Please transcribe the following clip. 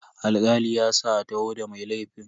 Alkali ya sa a taho da mai laifin.